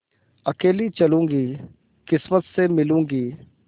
अकेली चलूँगी किस्मत से मिलूँगी